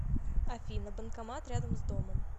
афина банкомат рядом с домом